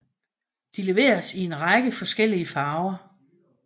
De leveres i en række forskellige farver